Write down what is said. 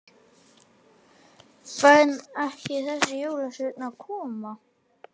Fer ekki þessi jólasveinn að koma?